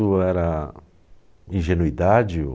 era ingenuidade, ou...